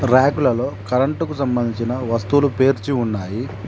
రాకులలో current కు సంబంధించిన వస్తువులు పేర్చి ఉన్నాయి.